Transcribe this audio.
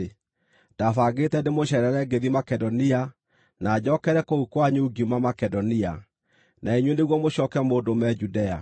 Ndabangĩte ndĩmũceerere ngĩthiĩ Makedonia, na njokere kũu kwanyu ngiuma Makedonia, na inyuĩ nĩguo mũcooke mũndũme Judea.